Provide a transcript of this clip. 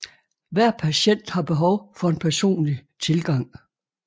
Hver patient har behov for en personlig tilgang